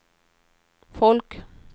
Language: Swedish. folk